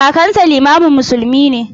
Kakansa limamin musulmi ne.